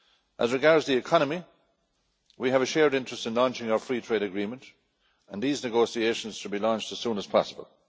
As regards the economy, we have a shared interest in launching our free trade agreement and these negotiations should be launched as soon as possible.